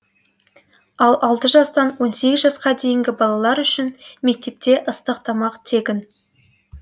ал алты жастан он сегіз жасқа дейінгі балалар үшін мектепте ыстық тамақ тегін